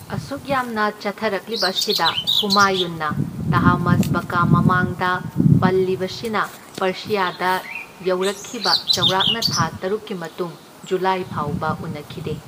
ꯑꯁꯨꯛ ꯌꯥꯝꯅ ꯆꯠꯊꯔꯛꯂꯤꯕ ꯑꯁꯤꯗ ꯍꯨꯃꯥꯌꯨꯟꯅ ꯇꯍꯃꯥꯁꯕꯀ ꯃꯃꯥꯡꯗ ꯄꯜꯂꯤꯕꯁꯤꯅ ꯄꯥꯔꯁꯤꯌꯥꯗ ꯌꯧꯔꯛꯈꯤꯕ ꯆꯥꯎꯔꯥꯛꯅ ꯊꯥ ꯇꯔꯨꯛꯀꯤ ꯃꯇꯨꯡ ꯖꯨꯂꯥꯏ ꯐꯥꯎꯕ ꯎꯅꯈꯤꯗꯦ꯫